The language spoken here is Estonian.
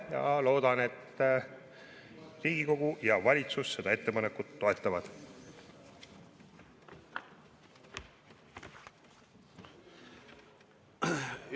Loodan, et Riigikogu ja valitsus seda ettepanekut toetavad.